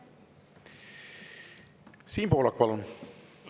Siim Pohlak, palun!